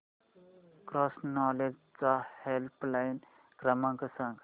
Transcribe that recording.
cross knowledge चा helpline क्रमांक सांगा